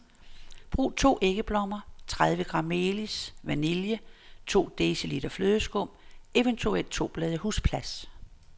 Brug to æggeblommer, tredive gram melis, vanille, to deciliter flødeskum, eventuelt to blade husblas.